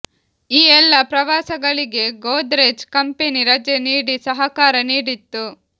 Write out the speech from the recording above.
ಈ ಎಲ್ಲ ಪ್ರವಾಸಗಳಿಗೆ ಗೋದ್ರೆಜ್ ಕಂಪನಿ ರಜೆ ನೀಡಿ ಸಹಕಾರ ನೀಡಿತ್ತು